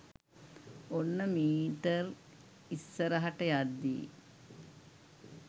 ඔන්න මීටර්ක් ඉස්සරහට යද්දී